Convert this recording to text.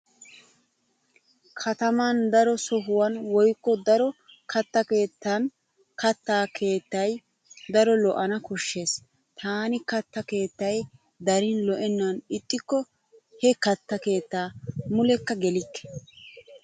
Kataman daro sohuwan woykko daro katta keettan katta keettay daro lo'ana koshshees. Taani katta keettay darin lo'ennan ixxikko he katta keettaa mulekka gelikke.